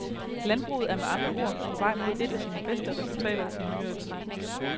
Landbruget er med andre ord på vej mod et af sine bedste resultater i nyere tid.